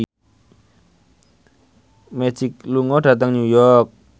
Magic lunga dhateng New York